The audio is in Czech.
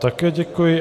Také děkuji.